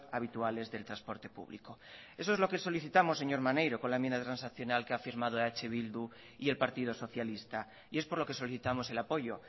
habituales del transporte público eso es lo que solicitamos señor maneiro con la enmienda transaccional que ha firmado eh bildu y el partido socialista y es por lo que solicitamos el apoyo